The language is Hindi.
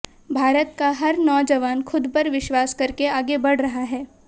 भारत का हर नौजवान खुद पर विश्वास करके आगे बढ़ रहा है